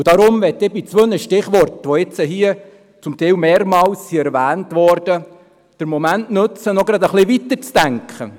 Deshalb möchte ich bei zwei Stichworten, die zum Teil mehrmals genannt wurden, den Moment nutzen, um noch ein wenig weiterzudenken.